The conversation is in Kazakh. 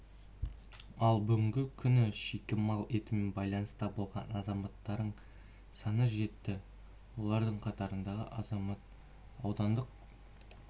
ал бүгінгі күні шикі мал етімен байланыста болған азаматтарың саны жетті олардың қатарындағы азамат аудандық